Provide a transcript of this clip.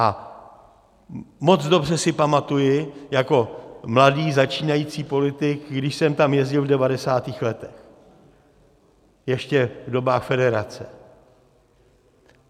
A moc dobře si pamatuji jako mladý začínající politik, když jsem tam jezdil v 90. letech, ještě v dobách federace.